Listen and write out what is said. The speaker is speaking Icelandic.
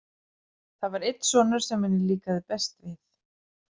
Það var einn sonur sem henni líkaði best við.